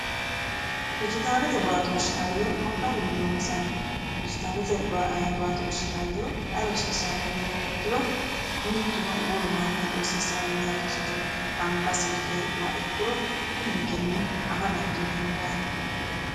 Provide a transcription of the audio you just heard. Dijitaalete baattoshi hayyo magarinni ronsanni ,dijitaalete baattoshi hayyo ayi rosiisano yiniha ikkiro mituno wolu manni rosiisanohu dino anga silke heedhuro uminkenni afa dandiineemmo yaate.